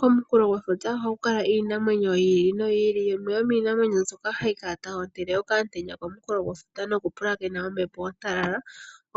Komukulo gwefuta ohaku kala iinamwenyo yi ili noyi ili, yimwe yomiinamwenyo mboka hayi kala tayi hotele okamutenya komunkulo gwefuta nokupulakena ombepo ontalala